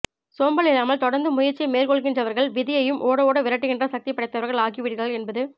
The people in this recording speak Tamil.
சோம்பல் இல்லாமல் தொடர்ந்து முயற்சியை மேற்கொள்கின்றவர்கள் விதியையும் ஓடஓட விரட்டுகின்ற சக்தி படைத்தவர்கள் ஆகி விடுகிறார்கள் என்பது